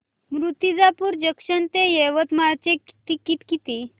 Murtijapur junction ते यवतमाळ चे ticket किती